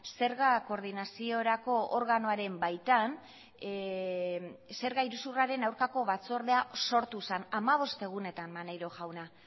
zerga koordinaziorako organoaren baitan zerga iruzurraren aurkako batzordea sortu zen hamabost egunetan maneiro jauna